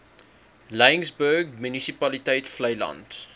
laingsburg munisipaliteit vleiland